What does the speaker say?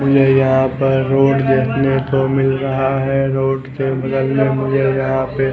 मुझे यहाँ पर रोड देखने को मिल रहा है रोड के बगल में मुझे यहाँ पे--